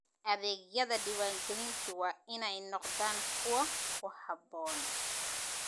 Adeegyada diiwaangelinta waa inay noqdaan kuwo ku habboon.